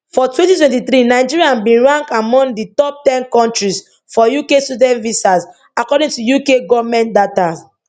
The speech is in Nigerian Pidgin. for 2023 nigeria bin rank among di top ten kontris for uk student visas according to uk goment data